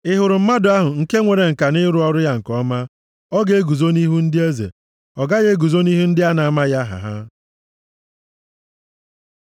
Ị hụrụ mmadụ ahụ nke nwere ǹka nʼịrụ ọrụ ya nke ọma? Ọ ga-eguzo nʼihu ndị eze, ọ gaghị eguzo nʼihu ndị a na-amaghị aha ha.